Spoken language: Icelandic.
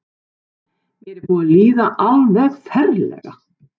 Mér er búið að líða alveg ferlega.